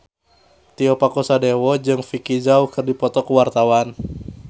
Tio Pakusadewo jeung Vicki Zao keur dipoto ku wartawan